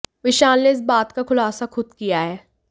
विशाल ने इस बात का खुलासा खुद किया है